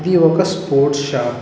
ఇది ఒక sports shop .